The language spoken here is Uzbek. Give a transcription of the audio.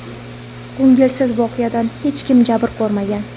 Ko‘ngilsiz voqeadan hech kim jabr ko‘rmagan.